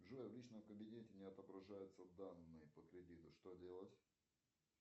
джой в личном кабинете не отображаются данные по кредиту что делать